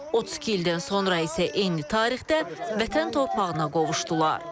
32 ildən sonra isə eyni tarixdə vətən torpağına qovuşdular.